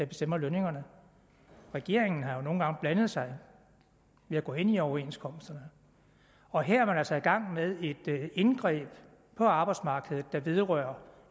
bestemmer lønningerne regeringen har jo nogle gange blandet sig ved at gå ind i overenskomsterne og her er man altså i gang med et indgreb på arbejdsmarkedet der vedrører